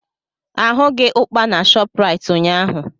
Ahụghị ụkpà na Shopraịt ụnyaahụ.